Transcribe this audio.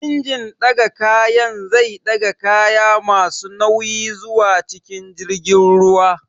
Injin ɗaga kayan zai ɗaga kaya masu nauyi zuwa cikin jirgin ruwa